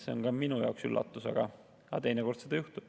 See on ka minu jaoks üllatus, aga teinekord seda juhtub.